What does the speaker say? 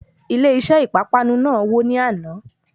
Ilé iṣé ìpápánu náà wò ní àná.